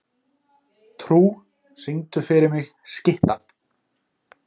Trú, syngdu fyrir mig „Skyttan“.